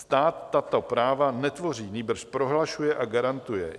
Stát tato práva netvoří, nýbrž prohlašuje a garantuje.